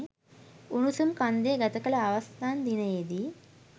උණුසුම් කන්දේ ගත කළ අවසන් දිනයේ දී